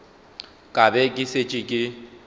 ka be ke šetše ke